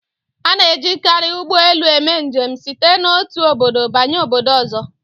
A na-ejikarị ụgbọelu eme njem site n'otu obodo banye obodo ọzọ